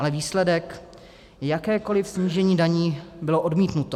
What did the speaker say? Ale výsledek - jakékoliv snížení daní bylo odmítnuto.